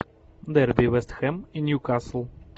дерби вест хэм и ньюкасл